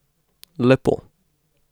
Lepo.